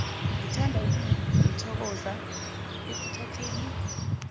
ngithanda ukunithokoza ekuthatheni